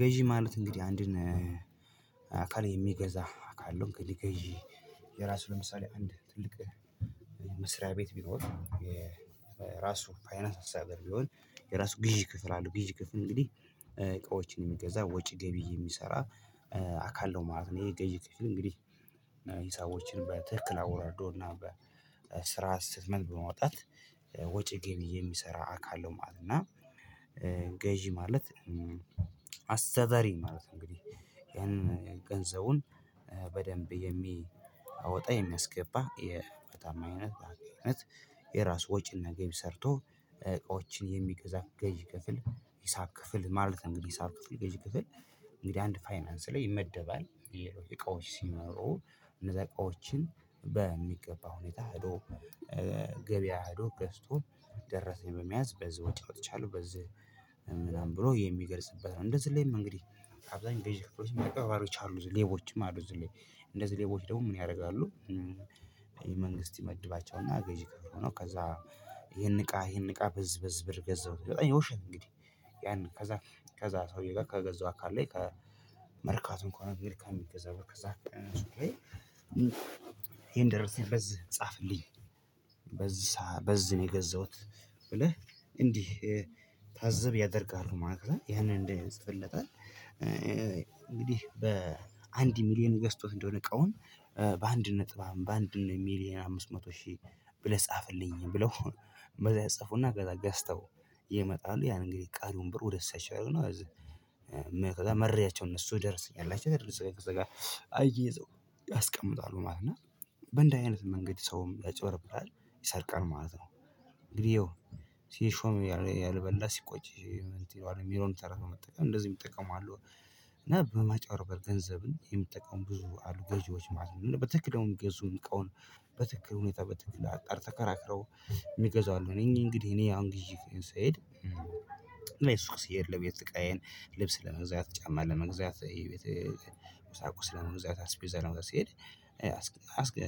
ገዢ ማለት እንግዲህ አንድን አካል የሚገዛ አካል ነው። ገዢ የራሱ ለምሳሌ አንድ ትልቅ መስሪያ ቤት ቢኖር። የራሱ ፋይናስ አስተዳደር ቢሆን የራሱ ግዢ ክፍል አለው ግዢ ክፍል እንግዲህ እቃዎችን የሚገዛ ወጪ ገቢ የሚሰራ አካል ነው ማለት ነው። ይሄ ግዢ ክፍል እንግዲህ እና ሂሳቦችን በትክክል አወራርዶ እና በስር ዓት እስቴትመንት በማውጣት ወጪ ገቢ የሚሰራ አካለው ማለት ነው። እና ገዢ ማለት አስተዳደሪ ማለት ነው። እንግዲህ ይሄንን ገንዘቡን በደንብ የሚያወጣ የሚያስገባ በታማኝነት በአገልጋይነት የራስ ወጪና ገቢ ሰርቶ እቃዎችን የሚገዛ ገዢ ክፍል ሂሳብ ክፍል ማለት ነው። ሂሳብ ክፍል ገዢ ክፍል እንግዲህ አንድ ፋይናንስ ላይ ይመደባል። የሌሎች እቃዎች ሲኖረው እነዛ እቃዎችን በሚገባ ሁኔታ አዶ ገበያ ህዶ ገዝቶ ደረሰኝ በመያዝ በዚህ ወጪ አውጥቻለሁ በዚህ ምናምን ብሎ የሚገልጽበት ነው። እንደዚህ ላይም እንግዲህ አብዛኛው ገዢ ክፍሎች አጭበርባሪዎችም ሌቦችም አሉ። እነዚህ ሌቦች ደግሞ ምን ያደርጋሉ? መንግስት ይመድባቸውና ገዢ ክፍል ሆነው ከዛ ይሄን እቃ ይሄን እቃ በዝ በዝ ብር ገዛሁ። የውሸት እንግዲህ ያን ከዛ ከዛ ሰውዬ ጋር ከገዛው አካል ላይ ከመርካቶ ከሆነ ግን ከሚገዛው ከዛ ይሄን ደረስኝ በዝ ጻፍልኝ በዝ በዝ ነው የገዛሁት ብለህ እንድትታዘብ ያደርጋሉ። ማለትነው ያንን እንደ ይጽፍለታል እንግዲህ በአንድ ሚሊየን ገዝቶት እንደሆነ እቃውን በአንድ ነጥባም በአንድ ሚሊየን አምስት መቶ ሺህ ብለህ ጻፍልኝ ብለው በዛ ያጽፉና ከዛ ገዝተው ይመጣሉ። ያን እንግዲህ ቀሪውን ብር ወደ እኪሳቸው ያረጉና ከዛ መረጃቸውን እነሱ ደርሰኝ አላቸው እንደዚህ አይደል አየይዘው ያስቀምጣሉ ማለት ነው። በእንደዚህ አይነት መንገድ ሰውም ያጭወርብሃል ይሰርቃል ማለት ነው። እንግዲህ ሲሾም ያልበላ ሲቆጭ ይለዋል የሚለውን ተረት በመጠቀም እንደዚህ እሚጠቀሙ አሉ። እና በማጭበርበር ገንዘብን የሚጠቀሙ ብዙ አሉ ገዢዎች ማለት ነው። እና በትክክል የሚገዙ እንቃውን በትክክል ሁኔታ በትክክል አጣር ተከራክረው የሚገዙ አሉ። እኔ እንግዲህ እኔ አንግዲ አሁን ግዢ ስሄድ። እሱቅ ስሄድ ለቤት እቃዬ ልብስ ለመግዛት ጫማ ለመግዛት ይሄ የቤት ቁሳቁስ ለመግዛት አስቤዛ ለመግዛት ስሄድ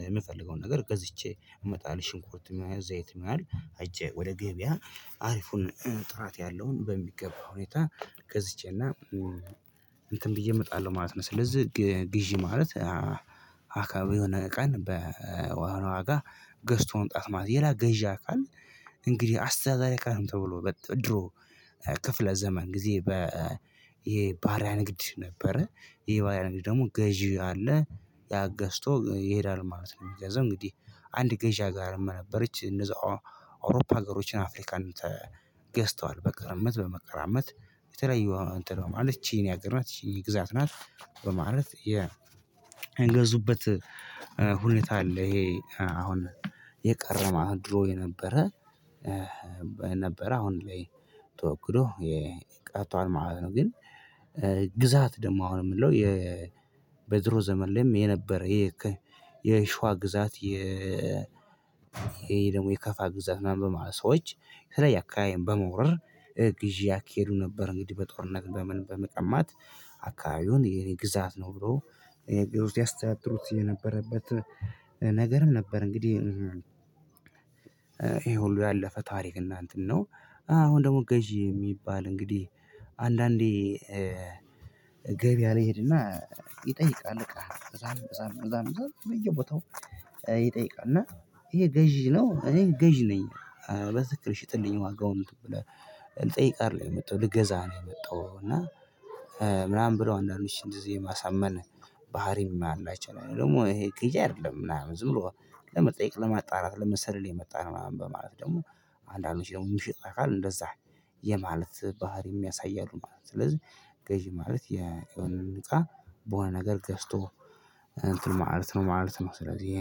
የምፈልገውን ነገር ገዝቼ እመጣለሁ ሽንኩርትም ይሆናል ዛይትም ይሆናል ሄጄ ወደ ገበያ አሪፉን ጥራት ያለውን በሚገባ ሁኔታ ገዝቼና እንትን ብዬ እመጣለሁ ማለት ነው። ስለዚህ ግዢ ማለት አካባቢ የሆነ ቀን በሆነ ዋጋ ገዝቶ መምጣት ማለት ነው። የላገዣ አካል እንግዲህ አስተዱዳሪ አካልም ተብሎ በድሮ ክፍለ ዘመን ጊዜ በ ይሄ ባሪያ ንግድ ነበረ። ይሄ ባሪያ ንግድ ደግሞ ገዢ አለ ያገዝቶ ይሄዳል ማለት ነው። የሚገዛው እንግዲህ አንድ ገዢ አገርም ነበረች እነዛ አውሮፓ ሀገሮችን አፍሪካን ተገዝተዋል በቅርምት በመቀራመት የተለዩ እንትን በማለት ይቺ የኔ አገርናት ይቺ የኔ ግዛት ናት በማለት የእንገዙበት ሁኔታ አለ። ይሄ አሁን የቀረም አሁን ድሮ የነበረ ነበረ አሁን ላይ ተወግዶ የቀርቷል ማለት ነው። ግን ግዛት ደግሞ አሁን የምለው የበድሮ ዘመን ላይም የነበረ የሽዋ ግዛት የ ይሄ ደግሞ የከፋ ግዛት ምናምን በማለት ሰዎች የተለያየ አካባቢን በመውረር ግዢ ያካሂዱ ነበር እንግዲህ በጦርነት በምን በመቀማት አካባቢውን የኔ ግዛት ነው ብሎ ያስተያድሩት የነበረበት ነገርም ነበር። እንግዲህ ይሄ ሁሉ ያለፈ ታሪክ እና እንትን ነው። አሁን ደግሞ ገዢ የሚባል እንግዲህ አንዳንዴ ገበያ ልሄድና ይጠይቃል እቃ እዛ እዛም እዛም እዛም በየቦታው ይጠይቃል እና ይሄ ገዢ ነው። እኔ ገዢ ነኝ። በትክክል ሽጥልኝ ዋጋውን ብለህ ልጠይቅ አደለም የመጣኸው ልገዛ ነው። የመጣኽው እና ምናምን ብለው አንዳንዶች እንደዚህ የማሳመን ባህሪም አላቸው። ነው ደግሞ ይሄ ገዢ አይደለም ምናምን ዝም ብሎ ለመጠየቅ ለማጣራት ለመሰልል የመጣነው ምናምን በማለት ደግሞ አንዳንዶች ደግሞ ሚሸጥን አካል እንደዛ የማለት ባህሪ የሚያሳይ አሉ ማለት ነው። ስለዚህ ገዢ ማለት የሆነን እቃ በሆነ ነገር ገዝቶ እንትን ማለት ነው ማለት ነው። ስለዚህ